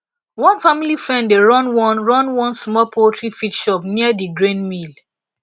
one family friend dey run one run one small poultry feed shop near di grain mill